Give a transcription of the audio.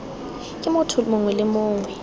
ke motho mongwe le mongwe